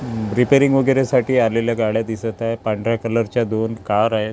Repairing वगैरे साठी आलेल्या गाड्या दिसत आहे पांढऱ्या कलरच्या दोन कार आहेत.